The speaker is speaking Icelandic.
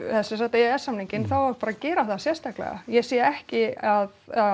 e e s samninginn þá á hann bara að gera það sérstaklega ég sé ekki að